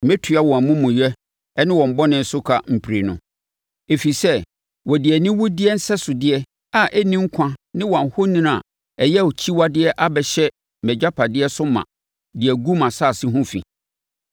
Mɛtua wɔn amumuyɛ ne wɔn bɔne so ka mprenu, ɛfiri sɛ wɔde aniwudeɛ nsɛsodeɛ a ɛnni nkwa ne wɔn ahoni a ɛyɛ akyiwadeɛ abɛhyɛ mʼagyapadeɛ so ma de agu mʼasase ho fi.”